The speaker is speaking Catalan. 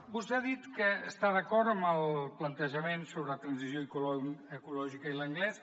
vostè ha dit que està d’acord amb el plantejament sobre transició ecològica i l’anglès